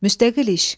Müstəqil iş.